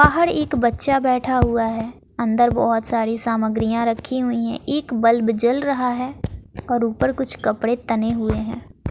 बाहर एक बच्चा बैठा हुआ है अंदर बहुत सारी सामग्रियां रखी हुई हैं एक बल्ब जल रहा है और ऊपर कुछ कपड़े तने हुए हैं।